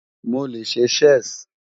Mo le ṣe Chess